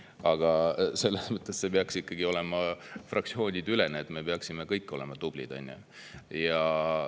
Aga selles mõttes peaks see ikkagi olema fraktsioonideülene, et me peaksime kõik tublid olema.